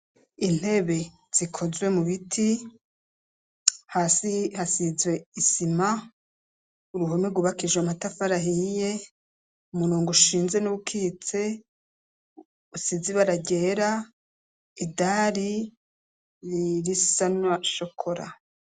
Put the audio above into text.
Intebe zikozwe mu biti, hasi hasizwe isima, uruhome rwubakishijwe amatafari ahiye, umurongo ushinze n'uwukitse usize ibara ryera, idari risa na shokora.